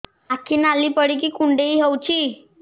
ଆଖି ନାଲି ପଡିକି କୁଣ୍ଡେଇ ହଉଛି